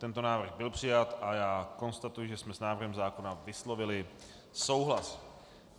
Tento návrh byl přijat a já konstatuji, že jsme s návrhem zákona vyslovili souhlas.